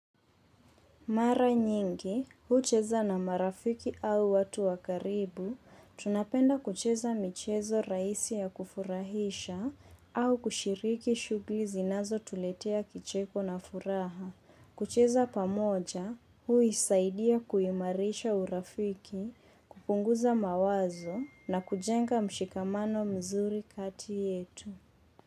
Mara nyingi, hucheza na marafiki au watu wa karibu, tunapenda kucheza michezo rahisi ya kufurahisha au kushiriki shughuli zinazotuletea kicheko na furaha. Kucheza pamoja, huisaidia kuimarisha urafiki, kupunguza mawazo na kujenga mshikamano mzuri kati yetu.